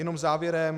Jenom závěrem.